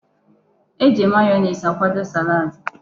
E ji mayonees akwado salaadi.